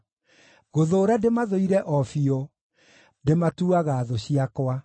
Gũthũũra ndĩmathũire o biũ; ndĩmatuaga thũ ciakwa.